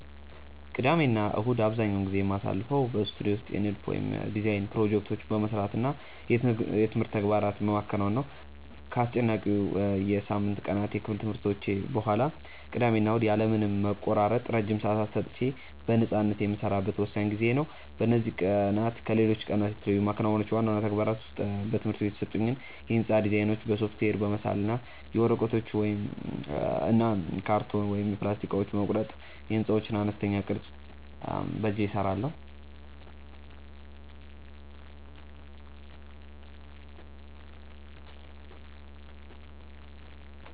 ቅዳሜና እሁድን አብዛኛውን ጊዜ የማሳልፈው በስቱዲዮ ውስጥ የንድፍ (Design) ፕሮጀክቶቼን በመስራት እና የትምህርት ተግባራትን በማከናወን ነው። ከአስጨናቂው የሳምንቱ ቀናት የክፍል ትምህርቶች በኋላ፣ ቅዳሜና እሁድ ያለ ምንም መቆራረጥ ረጅም ሰዓታት ሰጥቼ በነፃነት የምሰራበት ወሳኝ ጊዜዬ ነው። በእነዚህ ቀናት ከሌሎች ቀናት የተለዩ የማከናውናቸው ዋና ዋና ተግባራት ውስጥ በትምህርት ቤት የተሰጡኝን የሕንፃ ዲዛይኖች በሶፍትዌር በመሳል እና የወረቀት፣ የካርቶን ወይም የፕላስቲክ እቃዎችን በመቁረጥ የሕንፃዎችን አነስተኛ ቅርፅ በእጄ እሰራለሁ።